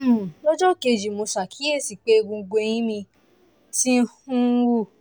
um lọ́jọ́ kejì mo ṣàkíyèsí pé egungun ẹ̀yìn mi ti um wú